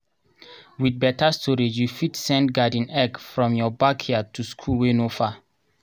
with better storageyou go fit send garden eggs from your backyard to school wey no far